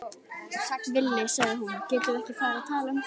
Villi, sagði hún, getum við ekki talað um þetta?